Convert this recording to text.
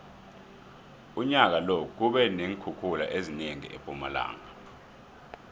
unyaka lo kube neenkhukhula ezinengi empumalanga